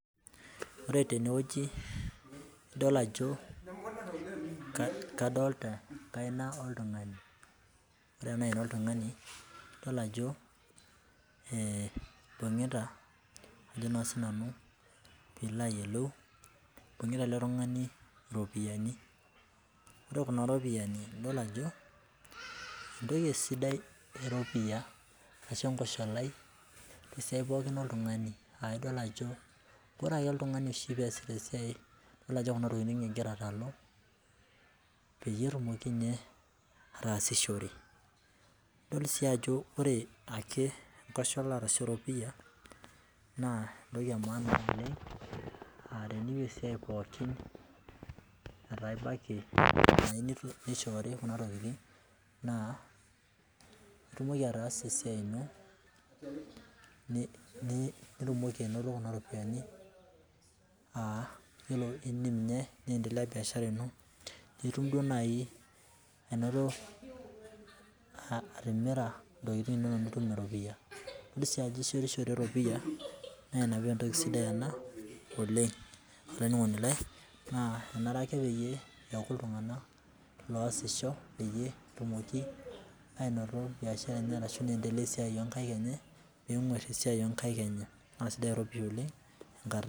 Ore tene wueji idol ajo kadolita enkaina oltungani ore ena aina oltungani adolita ajo eh ibungita ajo naa, sinanu pee ilo ayiolou ibungita ele tung'ani iropiyani. Ore kuna ropiyani adol ajo etoki sidai eropia arashu, ekoshalai tesiai pooki oltungani, ah idol ajo ore ake oltungani pee easita esiai idol ajo kuna tokitin egira atalu peyie etumoki ninye atasishore idol si ajo ore ake ekoshalai arashu eropia naa etoki emaana oleng, ah ore esiai pookin netaa ibaiki nishorii kuna tokitin naa itumoki ataasa esiai ino nitumoki ainoto kuna ropiyani ah iyiolo ninye niendeleya ebiashara ino nitum naaji anoto atimira intokitin inonok nitum eropia. Idol si ajo ishetishore eropia naa ina paa etoki sidai ena oleng olaininingoni lai naa anare ake pee eaku iltunganak losisho pee etumoki ainoto biashara enye anaa pee edeleya wee siai onkaik enye nenguar esiai onkaik enye naa sidai eropia oleng tenkata.